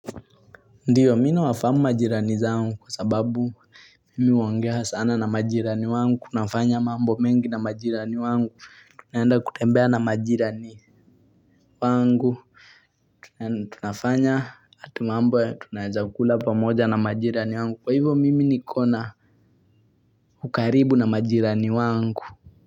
Ndiyo mimina wafamu majirani zangu kwa sababu mimi huongea sana na majirani wangu, nafanya mambo mengi na majirani wangu, tunayenda kutembea na majirani wangu, tunaenda tunafanya hata mambo ya tunawenda kula pamoja na majirani wangu, kwa hivyo mimi nikona ukaribu na majirani wangu.